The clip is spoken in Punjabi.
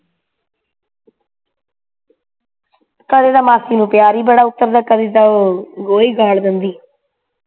ਕਦੇ ਤੇ ਮਾਸੀ ਨੂੰ ਪਿਆਰ ਈ ਬੜਾ ਕਰੀਦਾ ਉਹ ਗੋਹੇ ਗਾੜ ਦਿੰਦੀ